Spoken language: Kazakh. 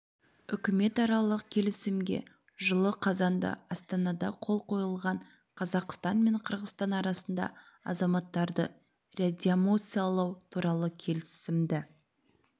үкіметаралық келісімге жылы қазанда астанада қол қойылған қазақстан мен қырғызстан арасында азаматтарды реадмиссиялау туралы келісімді